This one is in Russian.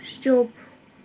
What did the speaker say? стёб